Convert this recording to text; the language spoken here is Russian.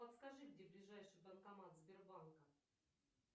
подскажи где ближайший банкомат сбербанка